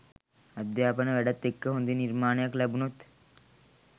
අධ්‍යාපන වැඩත් එක්ක හොඳ නිර්මාණයක් ලැබුණොත්